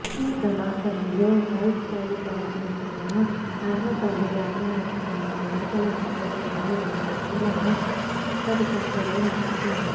ఈ ప్రమాదంలో బైక్ పై ప్రయాణిస్తున్న అర్వపల్లి గ్రామానికి చెందిన మేకల మల్లేశ్వరీ అనే మహిళ అక్కడికక్కడే మృతిచెందింది